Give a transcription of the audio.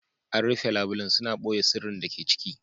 An rufe labulen, suna ɓoye sirrin da ke ciki.